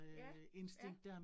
Ja, ja